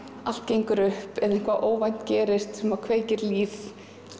allt gengur upp eða eitthvað óvænt gerist og kveikir líf